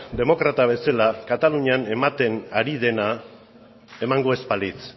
demokrata bezala katalunian ematen ari dena emango ez balitz